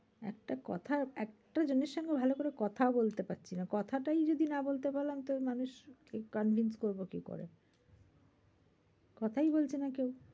একটা কথা একটা জনের সঙ্গে ভালো করে কথা বলতে পারছিলাম না। কথাটাই যদি না বলতে পারলাম তো মানুষ convince করবো কি করে? কথাই বলছে না কেউ।